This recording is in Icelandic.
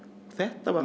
þetta var